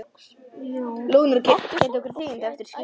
Lóurnar gæta okkar þegjandi eftir að skyggir.